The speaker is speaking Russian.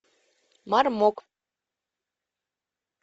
мармок